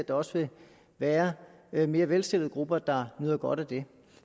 der også være være mere velstillede grupper der nyder godt af det